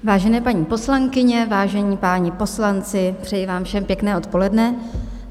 Vážené paní poslankyně, vážení páni poslanci, přeji vám všem pěkné odpoledne.